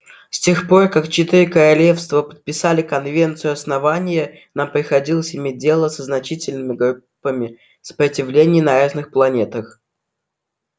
с тех пор как четыре королевства подписали конвенцию основания нам приходилось иметь дело со значительными группами сопротивления на разных планетах